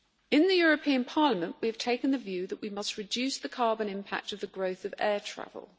In the European Parliament, we have taken the view that we must reduce the carbon impact of the growth of air travel.